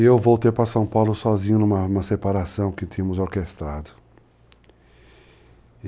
E eu voltei para São Paulo sozinho, numa separação que tínhamos orquestrado.